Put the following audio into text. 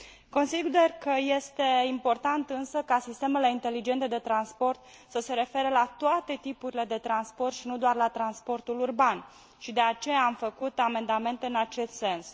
Consider că este important, însă, ca sistemele inteligente de transport să se refere la toate tipurile de transport și nu doar la transportul urban și de aceea am făcut amendamente în acest sens.